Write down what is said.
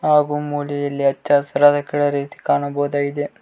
ಹಾಗು ಮೋಡೆಯಲ್ಲಿ ಹಚ್ಚಹಸಿರಾದ ಕಲರೀತಿ ಕಾಣಬಹುದಾಗಿದೆ.